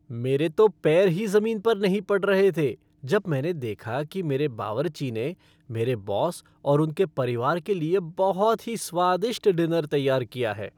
मेरे तो पैर ही जमीन पर नहीं पड़ रहे थे जब मैंने देखा कि मेरे बावर्ची ने मेरे बॉस और उनके परिवार के लिए बहुत ही स्वादिष्ट डिनर तैयार किया है।